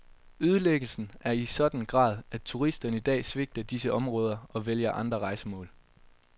Ødelæggelsen er i en sådan grad, at turisterne i dag svigter disse områder og vælger andre rejsemål.